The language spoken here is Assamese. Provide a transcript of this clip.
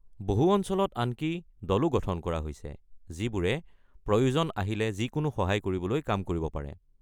বহু অঞ্চলত আনকি দলো গঠন কৰা হৈছে যিবোৰে প্ৰযোজন আহিলে যিকোনো সহায় কৰিবলৈ কাম কৰিব পাৰে।